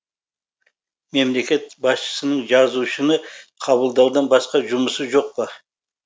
мемлекет басшысының жазушыны қабылдаудан басқа жұмысы жоқ па